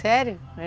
Sério? É.